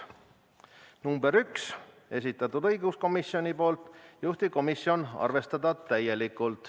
Ettepanek nr 1, esitanud õiguskomisjon, juhtivkomisjoni seisukoht: arvestada täielikult.